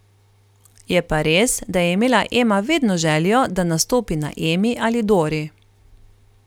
Je pa res, da je imela Ema vedno željo, da nastopi na Emi ali Dori.